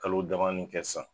Kalo damani kɛ san